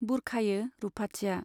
बुरखायो रुपाथिया।